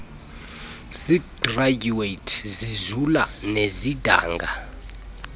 zigradyuwethi zizula nezidanga